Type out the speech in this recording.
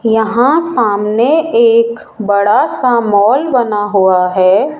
यहां सामने एक बड़ा सा मॉल बना हुआ है।